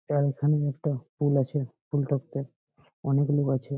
এইখানে একটা পুল আছে পুল -টাতে অনেক লোক আছে।